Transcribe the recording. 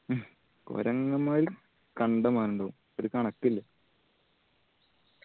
കൊരങ്ങന്മാർ കണ്ടമാനം ഇണ്ടാവും ഒരു കണക്കില്ല